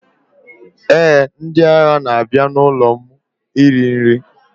Eh, ndị agha na-abịa n'ụlọ iri nri.